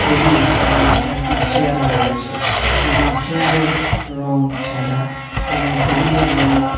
table এবং চারটি chair রয়েছে এবং চেয়ারের রং সাদা এবং টেবিলের রং--